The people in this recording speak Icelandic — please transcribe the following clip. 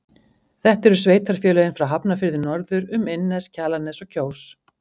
Þetta eru sveitarfélögin frá Hafnarfirði norður um Innnes, Kjalarnes og Kjós.